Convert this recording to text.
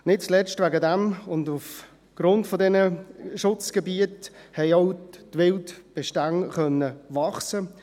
Nicht zuletzt deshalb, aufgrund dieser Schutzgebiete, konnten die Wildbestände wachsen.